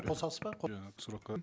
қосасыз ба иә сұраққа